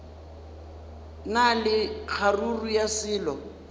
na le kgaruru ya selo